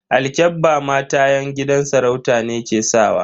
Alkyabba mata yan gidan sarauta ne ke sakawa.